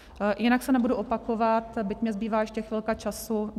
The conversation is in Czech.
Jinak se nebudu opakovat, byť mi zbývá ještě chvilka času.